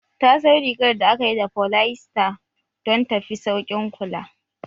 Ta sayo rigar da aka yi da polyester don ta fi sauƙin kula